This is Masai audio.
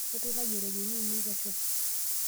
Aiturayie ropiyani ainei pesho.